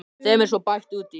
Þeim er svo bætt út í.